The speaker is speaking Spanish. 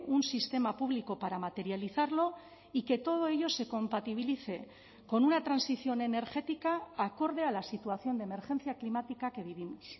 un sistema público para materializarlo y que todo ello se compatibilice con una transición energética acorde a la situación de emergencia climática que vivimos